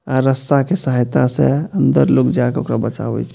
अ रस्सा के सहायता से अंदर लोग जाके ओकरा के बचावे छै।